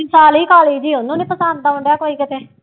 ਉਹਨੂੰ ਨੀ ਪਸੰਦ ਆਉਂਦਾ ਕੋਈ ਕਿਤੇ।